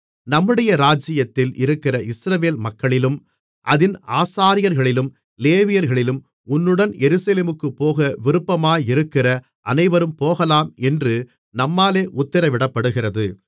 நம்முடைய ராஜ்ஜியத்தில் இருக்கிற இஸ்ரவேல் மக்களிலும் அதின் ஆசாரியர்களிலும் லேவியர்களிலும் உன்னுடன் எருசலேமுக்குப் போக விருப்பமாயிருக்கிற அனைவரும் போகலாம் என்று நம்மாலே உத்திரவிடப்படுகிறது